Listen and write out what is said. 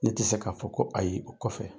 Ne tu se k'a fɔ ko ayi o kɔfɛ.